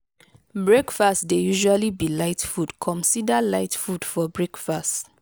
breakfast dey usually be light food comsider light food for breakfast